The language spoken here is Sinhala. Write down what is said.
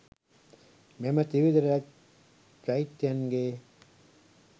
මෙම ත්‍රිවිධ චෛත්‍යයන්ගෙන්